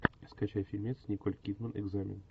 скачай фильмец николь кидман экзамен